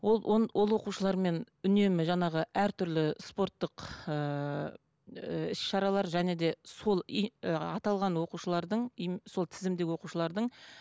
ол оқушылармен үнемі жаңағы әртүрлі спорттық ыыы іс шаралар және де сол аталған оқушылардың сол тізімдегі оқушылардың